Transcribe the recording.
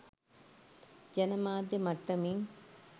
ජන මාධ්‍ය මට්ටමින්